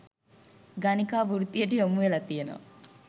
ගණිකා වෘත්තියට යොමු වෙලා තියෙනව.